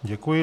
Děkuji.